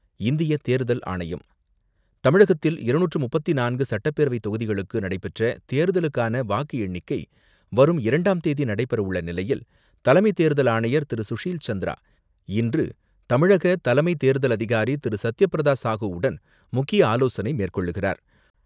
இந்திய தேர்தல் ஆணையம் தமிழகத்தில் இருநூற்று முப்பத்தி நான்கு சட்டப்பேரவைத் தொகுதிகளுக்கு நடைபெற்ற தேர்தலுக்கான வாக்கு எண்ணிக்கை வரும் இரண்டாம் தேதி நடைபெறவுள்ள நிலையில் தலைமை தேர்தல் ஆணையர் திரு சுஷீல் சந்திரா இன்று தமிழக தலைமை தேர்தல் அதிகாரி திரு சத்யபிரதா சாஹூவுடன் முக்கிய ஆலோசனை மேற்கொள்கிறார்.